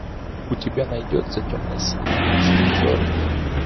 у тебя найдется темно синий почти черный